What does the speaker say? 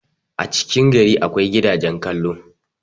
a cikin gari akwai gidagen kallon